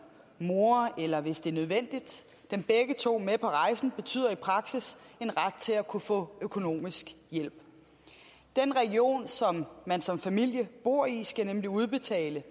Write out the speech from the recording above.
mor eller hvis det er nødvendigt dem begge to med på rejsen betyder i praksis en ret til at kunne få økonomisk hjælp den region som man som familie bor i skal nemlig udbetale